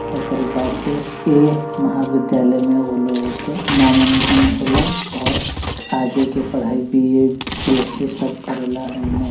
ओकरी पासे ए महा विद्यालय में उ लोगो के नामांकन होला और आगे की पढ़ाई बी_ए बी_एस_सी सब करेला एमें।